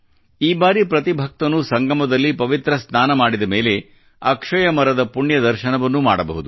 ಈ ಬಾರಿ ಪ್ರತಿ ಭಕ್ತನೂ ಸಂಗಮದಲ್ಲಿ ಪವಿತ್ರ ಸ್ನಾನ ಮಾಡಿದ ಮೇಲೆ ಅಕ್ಷಯ ಮರ ದ ಪುಣ್ಯ ದರ್ಶನವನ್ನೂ ಮಾಡಬಹುದು